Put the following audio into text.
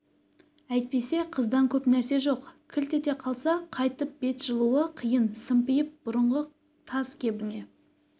әйтпесе қыздан көп нәрсе жоқ кілт ете қалса қайтып бет жылуы қиын сымпиып бұрынғы таз кебіңе